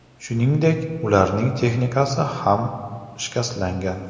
Shuningdek, ularning texnikasi ham shikastlangan.